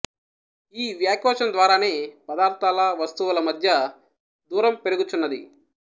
ఈ వ్యాకోచం ద్వారానే పదార్థాల వస్తువుల మధ్య దూరం పెరుగుచున్నది